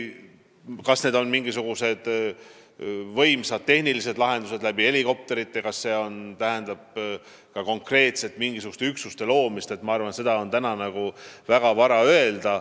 Kas tegu oleks mingisuguste võimsale tehnikale, näiteks helikopteritele toetuvate lahendustega või konkreetselt mingisuguste muude üksuste loomisega, seda on täna vara öelda.